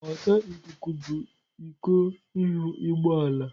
Ọta ikuku bụ iko ihu ụgbọ ala.